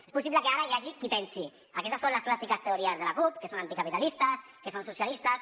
és possible que ara hi hagi qui pensi aquestes són les clàssiques teories de la cup que són anticapitalistes que són socialistes